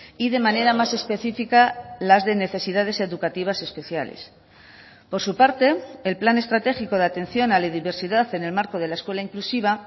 y de manera más específica las de necesidades educativas especiales por su parte el plan estratégico de atención a la diversidad en el marco de la escuela inclusiva